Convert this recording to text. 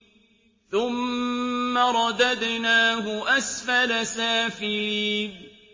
ثُمَّ رَدَدْنَاهُ أَسْفَلَ سَافِلِينَ